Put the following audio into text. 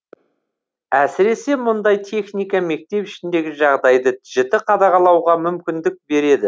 әсіресе мұндай техника мектеп ішіндегі жағдайды жіті қадағалауға мүмкіндік береді